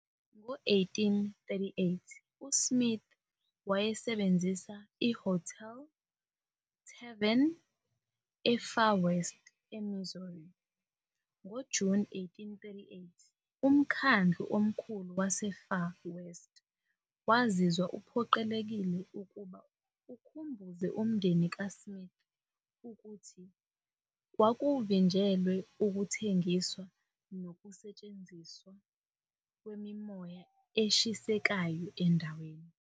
Ngo-1838, uSmith wayesebenzisa ihhotela - ithaveni eFar West, eMissouri. NgoJuni 1838, umkhandlu omkhulu waseFar West wazizwa uphoqelekile ukuba ukhumbuze umndeni kaSmith ukuthi kwakuvinjelwe ukuthengiswa nokusetshenziswa "kwemimoya eshisekayo endaweni".